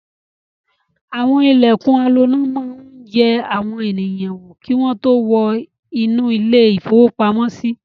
Àwọn ilẹ̀kùn aloná máa ń yẹ àwọn ènìyàn wò kí wọ́n tó wọ inú ilé-ìfowópamọ́sí.